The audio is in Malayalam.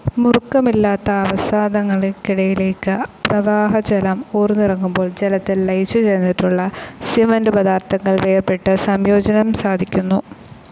മുറുക്കമില്ലാത്ത അവസാദങ്ങൾക്കിടയിലേക്ക് പ്രവാഹജലം ഊർന്നിറങ്ങുമ്പോൾ ജലത്തിൽ ലയിച്ചുചേർന്നിട്ടുള്ള സിമൻ്റ്പദാർത്ഥങ്ങൾ വേർപെട്ട് സംയോജനം സാധിക്കുന്നു.